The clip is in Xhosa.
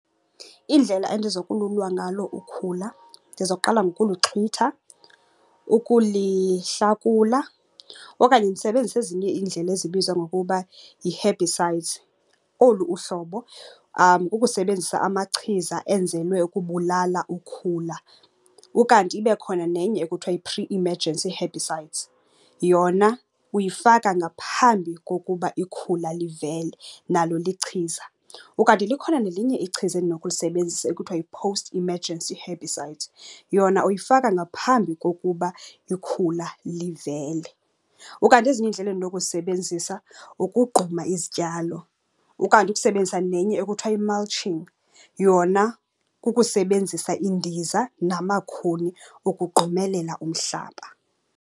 Indlela endizokululwa ngalo ukhula, ndizoqala ngokuluxhwitha, ukulihlakula. Okanye ndisebenzise ezinye iindlela ezibizwa ngokuba yi-herbicides, olu uhlobo kukusebenzisa amachiza enzelwe ukubulala ukhula. Ukanti ibe khona nenye ekuthiwa yi-pre emergency herbicides, yona uyifaka ngaphambi kokuba ikhula livele nalo lichaza. Ukanti likhona nelinye ichiza endinokulisebenzisa ekuthiwa yi-post emergency herbicide, yona uyifaka ngaphambi kokuba ikhula livele. Ukanti ezinye iindlela endinokuzisebenzisa kukugquma izityalo. Ukanti ukusebenzisa nenye ekuthiwa yi-mulching, yona kukusebenzisa indiza namakhuni ukugqumelela umhlaba.